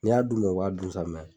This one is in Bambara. N'i y'a d'u ma u b'a dun sa